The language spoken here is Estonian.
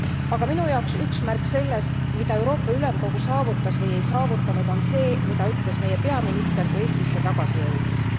Aga minu jaoks üks märk sellest, mida Euroopa Ülemkogu saavutas või ei saavutanud, on see, mida ütles meie peaminister, kui Eestisse tagasi jõudis.